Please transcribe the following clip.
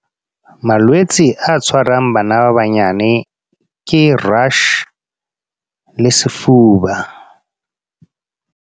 Malwetse a tshwarang bana ba banyane, ke rush le sefuba.